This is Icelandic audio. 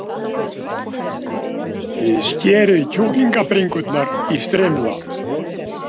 Skerið kjúklingabringurnar í strimla.